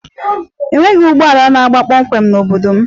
Enweghị ụgbọ ala na-aga kpọmkwem n'obodo m